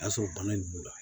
O y'a sɔrɔ bana in b'u la